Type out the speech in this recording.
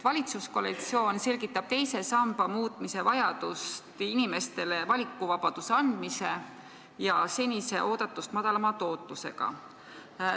Valitsuskoalitsioon selgitab teise samba muutmise vajadust inimestele valikuvabaduse andmise ja fondide senise oodatust madalama tootlusega.